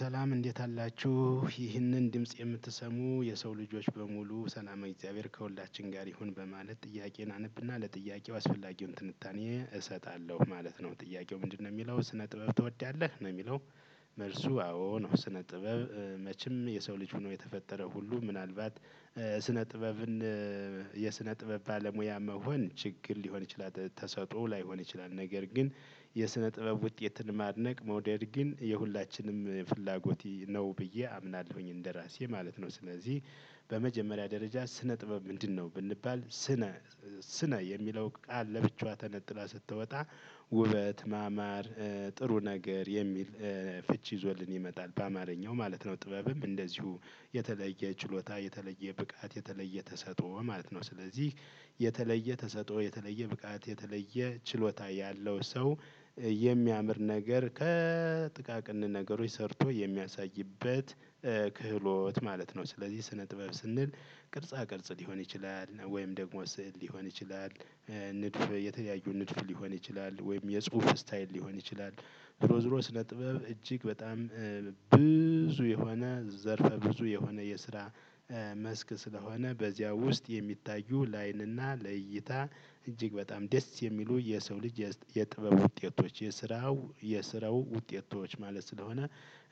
ሰላም እንዴት አላችሁ ይህንን ድምጽ የምትሰሙ የሰው ልጆች በሙሉ ሰላመ እግዚአብሔር ከሁላችን ጋር ይሁን በማለት ጥያቄን አነብና ለጥያቄው አስፈላጊውን ትንታኔ እሰጣለሁ ማለት ነው። ጥያቄው ምንድነው የሚለው ስነ ጥበብ ትወዳለህ ነው የሚለው? መልሱ አዎ ነው ስነ ጥበብ። መቼም የሰው ልጅ ሆኖ የተፈጠረው ሁሉ ምናልባት ስነ ጥበብን። የስነ ጥበብ ባለሙያ መሆን ችግር ሊሆን ይችላል ተሰጥኦ ላይሆን ይችላል። ነገር ግን የስነ ጥበብ ውጤትን ማድነቅ መውደድ ግን የሁላችንም ፍላጎት ነው ብዬ አምናለሁኝ። እንደራሴ ማለት ነው። ስለዚህ በመጀመሪያ ደረጃ ስነ ጥበብ ምንድነው? ብንባል ስነ ስነ የሚለው ቃል ለብቻዋ ተነጥላ ስትወጣ። ውበት ማማር። ጥሩ ነገር የሚል ፍቺ ይዞልን ይመጣል። በአማርኛው ማለት ነው። ጥበብም እንደዚሁ የተለየ ችሎታ የተለየ ብቃት የተለየ ተሰጥኦ ማለት ነው። ስለዚህ የተለየ ተሰጥኦ የተለየ ብቃት የተለየ ችሎታ ያለው ሰው። የሚያምር ነገር ከጥቃቅን ነገሮች ሰርቶ የሚያሳይበት ክህሎት ማለት ነው። ስለዚህ ስነ ጥበብ ስንል ቅርጻ ቅርጽ ሊሆን ይችላል ወይም ደግሞ ስዕል ሊሆን ይችላል። ንድፍ የተለያዩ ንድፍ ሊሆን ይችላል ወይም የጽሁፍ ስታይል ሊሆን ይችላል። ዙሮ ዙሮ ስነ ጥበብ እጅግ በጣም ብዙ የሆነ ዘርፈ ብዙ የሆነ የስራ መስክ ስለሆነ በዚያ ውስጥ የሚታዩ ለአይንና ለይይታ። እጅግ በጣም ደስ የሚሉ የሰው ልጅ የስ የጥበብ ውጤቶች የስራው የስራው ውጤቶች ማለት ስለሆነ።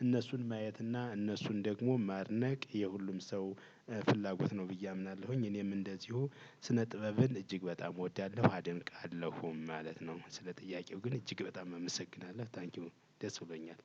እነሱን ማየት እና እነሱን ደግሞ ማድነቅ የሁሉም ሰው ፍላጎት ነው ብዬ አምናለሁኝ። እኔም እንደዚሁ ስነ ጥበብን እጅግ በጣም እወዳለሁ አደንቃለሁም ማለት ነው። ስለ ጥያቄው ግን እጅግ በጣም እመሰግናለሁ ታንኪው ደስ ብሎኛል።